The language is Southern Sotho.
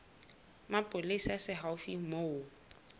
mapolesa se haufi le moo